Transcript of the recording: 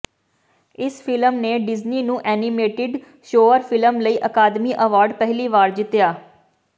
ਇਸ ਫ਼ਿਲਮ ਨੇ ਡਿਜ਼ਨੀ ਨੂੰ ਐਨੀਮੇਟਡ ਸ਼ੋਅਰ ਫਿਲਮ ਲਈ ਅਕਾਦਮੀ ਅਵਾਰਡ ਪਹਿਲੀ ਵਾਰ ਜਿੱਤਿਆ